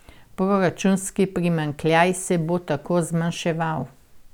Proračunski primanjkljaj se bo tako zmanjševal.